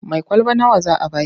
Mai kwalaba nawa za a ba ki?